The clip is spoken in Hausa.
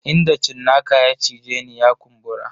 Inda cinnaka ya cije ni ya kumbura.